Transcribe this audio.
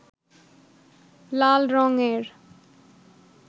লাল রঙ-এর